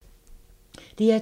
DR2